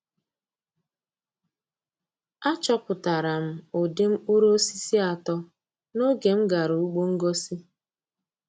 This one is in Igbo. Achọpụtara m ụdị mkpụrụ osisi atọ n'oge m gara ugbo ngosi.